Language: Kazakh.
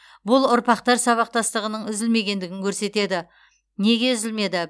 бұл ұрпақтар сабақтастығының үзілмегендігін көрсетеді неге үзілмеді